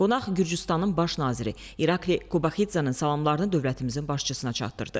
Qonaq Gürcüstanın baş naziri İrakli Qobaxidzenin salamlarını dövlətimizin başçısına çatdırdı.